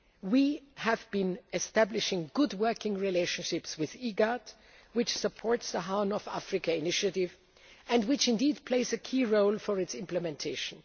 the Horn. We have been establishing good working relations with IGAD, which supports the Horn of Africa initiative and which plays a key role in its implementation.